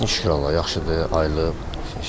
Vəziyyətinə şükür Allaha, yaxşıdır, ayılıb.